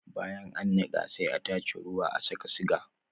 Bayan an niqa sai a tace ruwa a saka siga